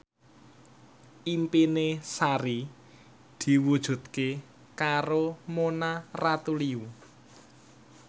impine Sari diwujudke karo Mona Ratuliu